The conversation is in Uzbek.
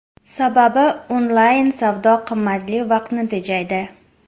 Sababi, onlayn savdo qimmatli vaqtni tejaydi.